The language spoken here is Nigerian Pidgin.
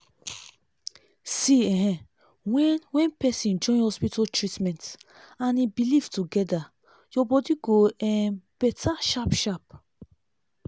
see ehen when when pesin join hospital treatment and hin belief together ur body go um better sharp sharp